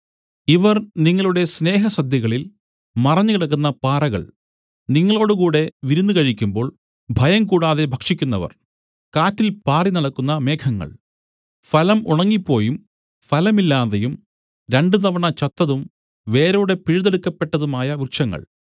ഇവർ നിങ്ങളുടെ സ്നേഹസദ്യകളിൽ മറഞ്ഞുകിടക്കുന്ന പാറകൾ നിങ്ങളോടുകൂടെ വിരുന്നു കഴിക്കുമ്പോൾ ഭയംകൂടാതെ ഭക്ഷിക്കുന്നവർ കാറ്റിൽ പാറിനടക്കുന്ന മേഘങ്ങൾ ഫലം ഉണങ്ങിപ്പോയും ഫലമില്ലാതെയും രണ്ടു തവണ ചത്തതും വേരോടെ പിഴുതെടുക്കപ്പെട്ടതുമായ വൃക്ഷങ്ങൾ